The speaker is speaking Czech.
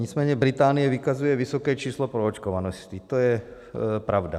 Nicméně Británie vykazuje vysoké číslo proočkovanosti, to je pravda.